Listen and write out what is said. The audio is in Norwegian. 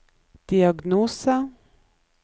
diagnose